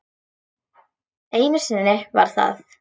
Einu sinni var það